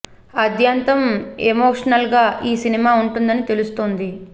ఆద్యంతం ఎమోషనల్గా ఈ సినిమా ఉంటుందని తెలుస్తుంది